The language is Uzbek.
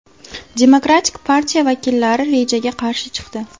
Demokratik partiya vakillari rejaga qarshi chiqdi.